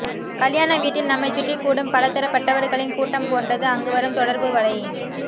கல்யாணவீட்டில் நம்மைச்சுற்றி கூடும் பலதரப்பட்டவர்களின் கூட்டம் போன்றது அங்கு வரும் தொடர்புவலை